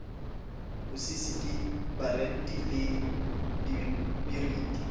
ho sisiki boranti le dipiriti